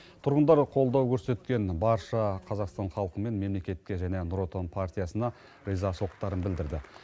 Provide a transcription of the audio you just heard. тұрғындар қолдау көрсеткен барша қазақстан халқы мен мемлекетке және нұр отан партиясына ризашылықтарын білдірді